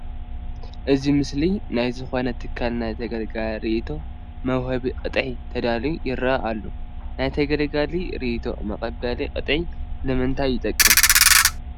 ኣብዚ ምስሊ ናይ ዝኾነ ትካል ናይ ተገልጋሊ ርኢቶ መውሃቢ ቅጥዒ ተዳልዩ ይርአ ኣሎ፡፡ ናይ ተገልጋሊ ርኢቶ መቐበሊ ቅጥዒ ንምንታይ ይጠቅም?